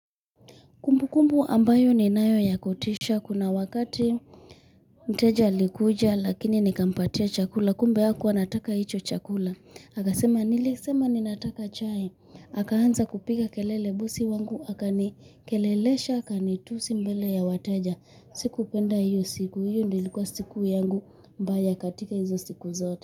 Kumbukumbu ambayo ninayo ya kutisha kuna wakati mteja alikuja lakini nikampatia chakula kumbe hakuwa anataka hicho chakula akasema 'nilisema ninataka chai' akaanza kupiga kelele, bosi wangu aka nikelelesha akanitusi mbele ya wateja, sikupenda hiyo, siku hiyo ndio ilikuwa siku yangu mbaya katika hizo siku zote.